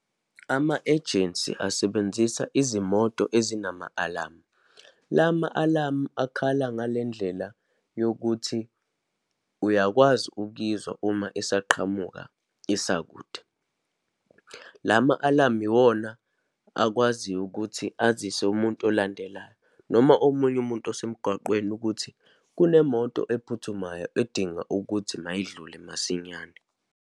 Ama-ajensi asebenzisa izimoto ezinama-alamu. La ma-alamu akhala ngale ndlela yokuthi uyakwazi ukuyizwa uma isaqhamuka, isakude. La ma-alamu iwona akwaziyo ukuthi azise umuntu olandelayo, noma omunye umuntu osemgwaqweni, ukuthi kunemoto ephuthumayo edinga ukuthi mayindlule masinyane.